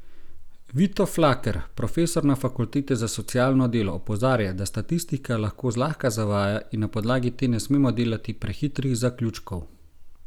Vito Flaker, profesor na fakulteti za socialno delo, opozarja, da statistika lahko zlahka zavaja in na podlagi te ne smemo delati prehitrih zaključkov.